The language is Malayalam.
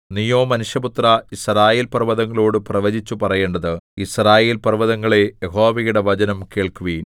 നീയോ മനുഷ്യപുത്രാ യിസ്രായേൽപർവ്വതങ്ങളോടു പ്രവചിച്ചു പറയേണ്ടത് യിസ്രായേൽപർവ്വതങ്ങളേ യഹോവയുടെ വചനം കേൾക്കുവിൻ